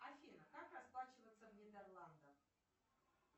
афина как расплачиваться в нидерландах